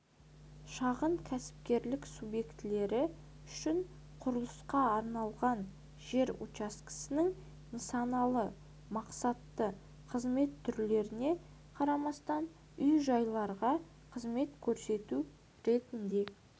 шағын кәсіпкерлік субъектілері үшін құрылысқа арналған жер учаскесінің нысаналы мақсаты қызмет түрлеріне қарамастан үй-жайларға қызмет көрсету ретінде